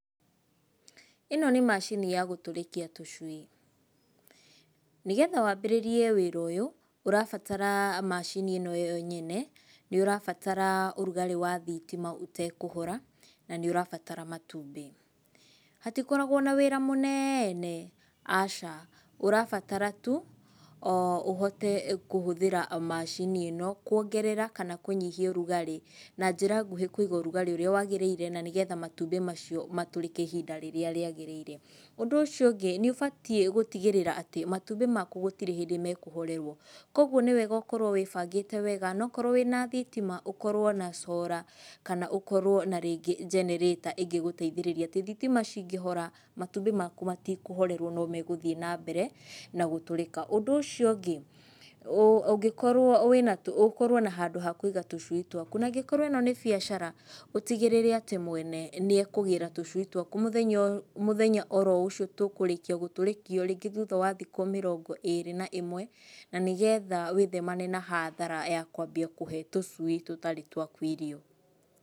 Ĩno nĩ macini ya gũtũrĩkia tũcui. Nĩgetha wambĩrĩrie wĩra ũyũ ũrabatara macini ĩno yo nene, nĩ ũrabatara ũrugarĩ wa thitima ũtekũhora na nĩ ũrabatara matumbĩ. Hatikoragwo na wĩra mũnene, aca. Ũrabatara tu, o ũhote kũhũthĩra macini ĩno kuongerera kana kũnyihia ũrugarĩ. Na njĩra nguhĩ kũiga ũrugarĩ ũrĩa waagĩrĩire na nĩgetha matumbĩ macio matũrĩke ihinda rĩrĩa rĩagĩrĩire. Ũndũ ũcio ũngĩ, nĩ ũbatiĩ gũtigĩrĩra atĩ matumbĩ maku gũtirĩ hĩndĩ mekũhorerwo. Koguo nĩ wega ũkorwo wĩbangĩte wega. Ona okorwo wĩna thitima ũkorwo na solar kana ũkorwo na rĩngĩ generator ĩngĩgũteithĩrĩria. Atĩ thitima cingĩhora, matumbĩ maku matikũhorerwo no megũthiĩ nambere na gũtũrĩka. Ũndũ ũcio ũngĩ, ũngĩkorwo ũkorwo na handũ ha kũiga tũcui twaku. Na angĩkorwo ĩno nĩ biacara, ũtigĩrĩre atĩ mwene nĩ ekũgĩra tũcui twaku mũthenya oro ũcio tũkũrĩkia gũtũrĩkio, rĩngĩ thutha wa thikũ mĩrongo ĩrĩ na ĩmwe. Na nĩgetha wĩthemane na hathara ya kwambia kũhe tũcui tũtarĩ twaku irio.